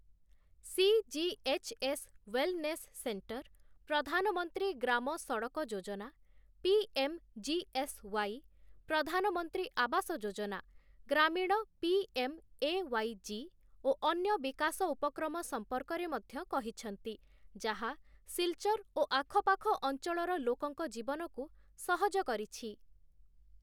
CGHS. Wellness centre, Pradhanmantri Gram Sadak Yojana, PMGSY., Pradhanmantri Awas Yojana, Gramin PMAYG ଓ ଅନ୍ୟ ବିକାଶ ଉପକ୍ରମ ସମ୍ପର୍କରେ ମଧ୍ୟ କହିଛନ୍ତି, ଯାହା ସିଲଚର ଓ ଆଖପାଖ ଅଞ୍ଚଳର ଲୋକଙ୍କ ଜୀବନକୁ ସହଜ କରିଛି ।